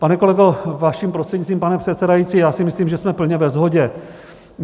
Pane kolego, vaším prostřednictvím, pane předsedající, já si myslím, že jsme plně ve shodě.